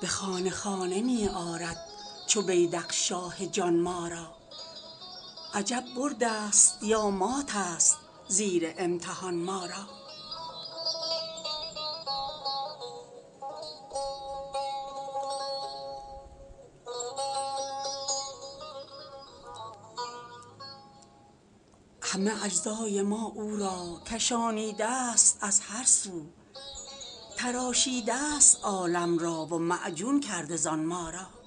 به خانه خانه می آرد چو بیذق شاه جان ما را عجب بردست یا ماتست زیر امتحان ما را همه اجزای ما را او کشانیده ست از هر سو تراشیده ست عالم را و معجون کرده زان ما را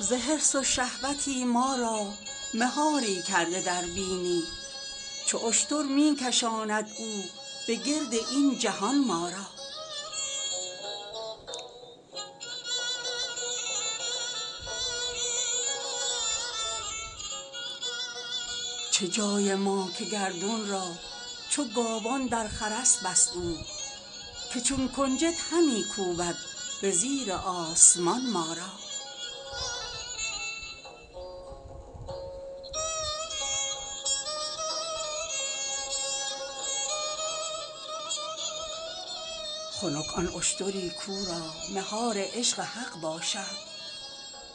ز حرص و شهوتی ما را مهاری کرده در بینی چو اشتر می کشاند او به گرد این جهان ما را چه جای ما که گردون را چو گاوان در خرس بست او که چون کنجد همی کوبد به زیر آسمان ما را خنک آن اشتری کاو را مهار عشق حق باشد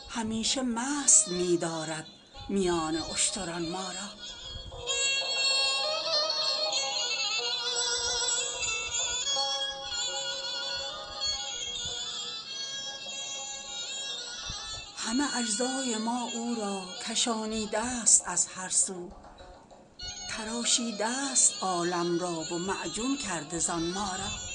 همیشه مست می دارد میان اشتران ما را